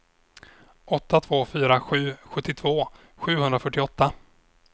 åtta två fyra sju sjuttiotvå sjuhundrafyrtioåtta